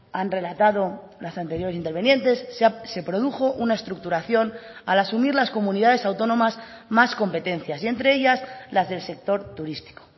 han relatado las anteriores intervinientes se produjo una estructuración al asumir las comunidades autónomas más competencias y entre ellas las del sector turístico